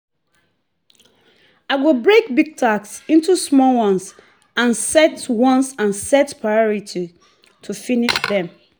i go break big task into small ones and set ones and set priority to finish them.